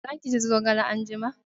Za ki ci zogale anjima!